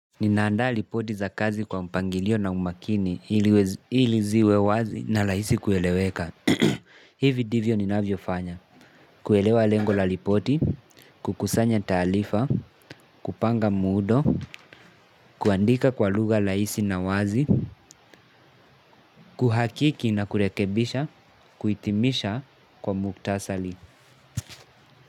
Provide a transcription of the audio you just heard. Ninaandaa ripoti za kazi kwa mpangilio na umakini ili ziwe wazi na rahisi kueleweka. Hivi ndivyo ninavyofanya. Kuelewa lengo la ripoti, kukusanya taarifa, kupanga muundo, kuandika kwa lugha rahisi na wazi, kuhakiki na kurekebisha, kuitimisha kwa muktasari.